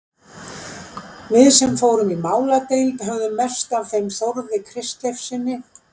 Við sem fórum í máladeild höfðum mest af þeim Þórði Kristleifssyni